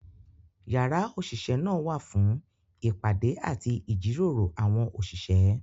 Yàrá òṣìṣẹ́ náà wà fún ìpàdé àti ìjíròrò àwọn òṣìṣẹ́.